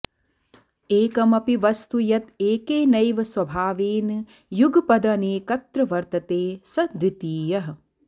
एकमपि वस्तु यत् एकेनैव स्वभावेन युगपदनेकत्र वर्तते स द्वितीयः